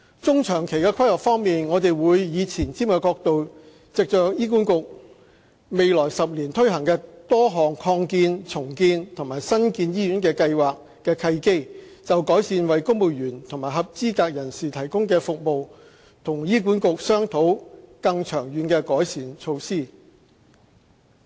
中、長期規劃方面，我們會以前瞻角度藉着醫院管理局未來10年推行多項擴建、重建及新建醫院計劃的契機，就改善為公務員及合資格人士提供的服務與醫管局商討更長遠的改善措施。